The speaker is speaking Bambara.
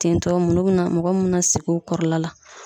Tintɔ munnu be na, mɔgɔ munnu be na sigi u kɔrɔla la